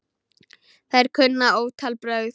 Þær kunna ótal brögð.